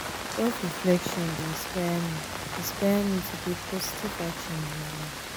self-reflection dey inspire me inspire me to take positive action in my life.